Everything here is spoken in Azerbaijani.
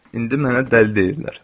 İndi mənə dəli deyirlər.